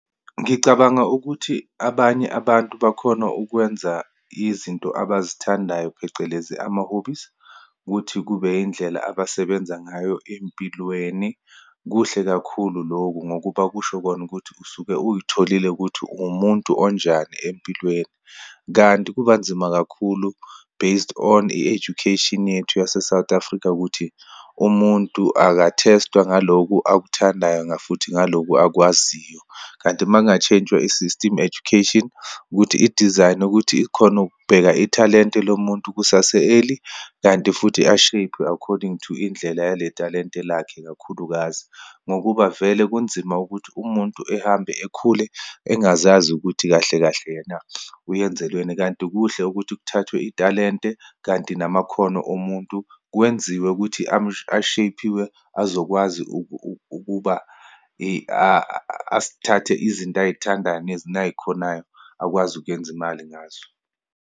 Ngicabanga ukuthi abanye abantu bakhona ukwenza izinto abazithandayo, phecelezi ama-hobbies, ukuthi kube indlela abasebenza ngayo eyimpilweni. Kuhle kakhulu loku, ngokuba kusho kona ukuthi usuke uyiholile ukuthi uwumuntu onjani empilweni. Kanti kubanzima kakhulu based on i-education yethu yase-South Africa ukuthi umuntu aka-test-wa ngalokhu akuthandayo ngafuthi ngalokhu akwaziyo. Kanti uma kungatsheyintshwa isistimu education, ukuthi idizayinwe ukuthi ikhone ukubheka ithalente lo muntu kusase-early, kanti futhi a-shape-we according to indlela yale thalente lakhe, ikakhulukazi. Ngokuba vele kunzima ukuthi umuntu ehambe akhule, engazazi ukuthi kahle kahle yena uyenzelweni. Kanti kuhle ukuthi kuthathwe ithalente kanti namakhono omuntu kwenziwe ukuthi a-shape-iwe, azokwazi ukuba asithathe izinto ayithandayo nayikhonayo akwazi ukuyenza imali ngazo.